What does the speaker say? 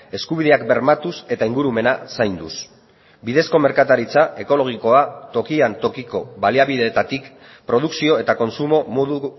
eskubideak bermatuz eta ingurumena zainduz bidezko merkataritza ekologikoa tokian tokiko baliabideetatik produkzio eta kontsumo modu